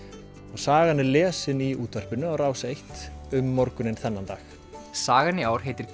og sagan er lesin í útvarpinu á Rás einn um morguninn þennan dag sagan í ár heitir